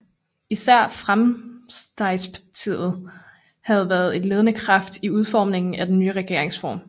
Især Framstegspartiet havde været en ledende kraft i udformningen af den nye regeringsform